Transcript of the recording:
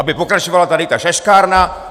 Aby pokračovala tady ta šaškárna?